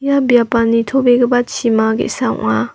ia biapan nitobegipa chima ge·sa ong·a.